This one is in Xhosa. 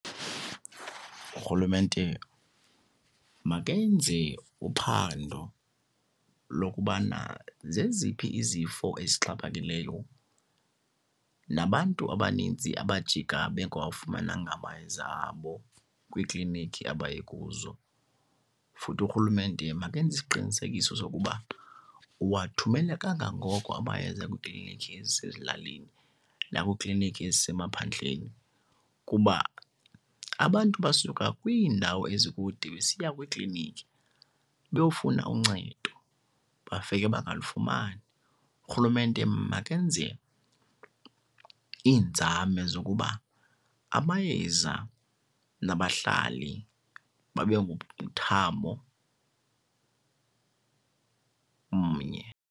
Urhulumente makenze uphando lokubana zeziphi izifo ezixhaphakileyo nabantu abaninzi abajika bengawafumananga amayeza abo kwiiklinikhi abaye kuzo. Futhi urhulumente makenze isiqinisekiso sokuba uwathumela kangangoko amayeza kwiiklinikhi ezisezilalini nakwiikliniki ezisemaphandleni kuba abantu basuka kwiindawo ezikude besiya kwiiklinikhi beyokufuna uncedo bafike bangalufumani. Urhulumente makenze iinzame zokuba amayeza nabahlali babe ngumthamo mnye.